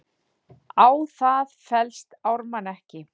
Á það fellst Ármann ekki.